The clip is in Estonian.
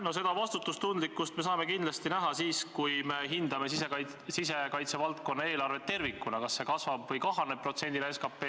No seda vastutustundlikkust me saame kindlasti näha siis, kui me hindame sisekaitse valdkonna eelarvet tervikuna: kas see kasvab või kahaneb protsendina SKP-st.